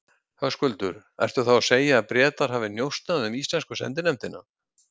Höskuldur: Ertu þá að segja þá að Bretar hafi njósnað um íslensku sendinefndina?